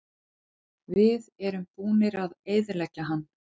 Við erum búnir að eyðileggja hann.